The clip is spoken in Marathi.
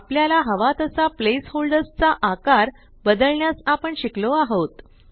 आपल्याला हवा तसा प्लेसहोल्डर्स चा आकार बदलण्यास आपण शिकलो आहोत